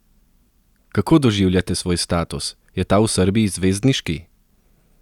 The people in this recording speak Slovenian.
Kako doživljate svoj status, je ta v Srbiji zvezdniški?